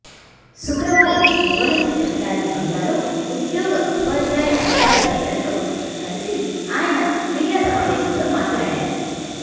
శుక్రవారం భువనగిరి రహదారి బంగ్లాలో ఉద్యోగ ఉపాధ్యాయ సంఘాల నేతలతో కలిసి ఆయన మీడియా సమావేశంలో మాట్లాడారు